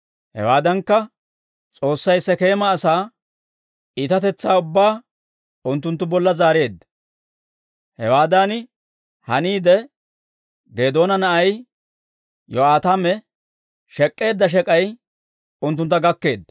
Hewaadankka, S'oossay Sekeema asaa iitatetsaa ubbaa unttunttu bolla zaareedda. Hewaadan haniide, Geedoona na'ay Yo'aataame shek'k'eedda shek'ay unttuntta gakkeedda.